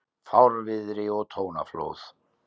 Fárviðri og tónaflóð